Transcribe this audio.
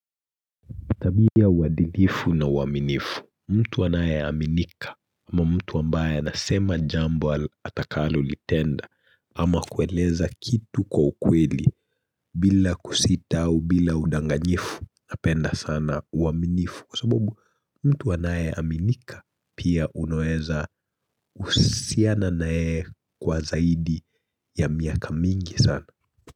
Tabia ya uadilifu na uaminifu, mtu anaye aminika ama mtu ambaye nasema jambo atakalo litenda ama kueleza kitu kwa ukweli bila kusitau bila udanganyifu napenda sana uaminifu. Kwa sababu mtu anaye aminika pia unoeza usiana nayeye kwa zaidi ya miaka mingi sana.